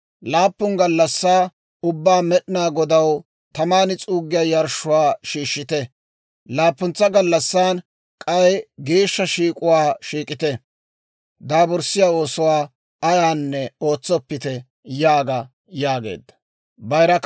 Laappun gallassaa ubbaa Med'inaa Godaw taman s'uuggiyaa yarshshuwaa shiishshite; laappuntsa gallassan k'ay geeshsha shiik'uwaa shiik'ite; daaburssiyaa oosuwaa ayaanne ootsoppite› yaaga» yaageedda.